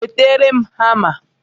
Wetara m hama!